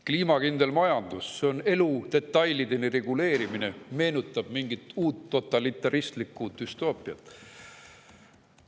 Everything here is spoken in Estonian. Kliimakindel majandus on elu detailideni reguleerimine ja meenutab mingit uut totalitaristlikku düstoopiat.